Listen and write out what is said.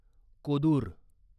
Kodur